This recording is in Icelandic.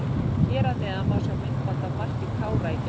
Hér að neðan má sjá myndband af marki Kára í gær.